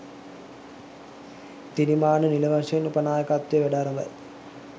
තිරිමාන්න නිල වශයෙන් උප නාකයත්වයේ වැඩ අරඹයි